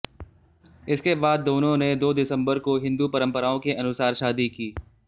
इसके बाद दोनों ने दो दिसंबर को हिंदू परंपराओं के अनुसार शादी की